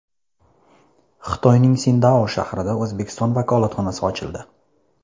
Xitoyning Sindao shahrida O‘zbekiston vakolatxonasi ochildi.